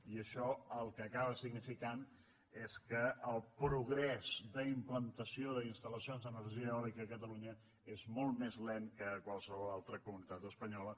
i això el que acaba significant és que el progrés d’implantació d’instal·lacions d’energia eòlica a catalunya és molt més lent que a qualsevol altra comunitat espanyola